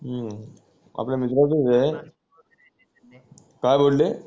हू आपला मित्राचाच ए काय बोलले